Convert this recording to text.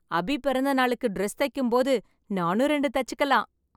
அபி பிறந்தநாளுக்கு டிரஸ் தைக்கும்போது நானும் ரெண்டு தைச்சுக்கலாம்.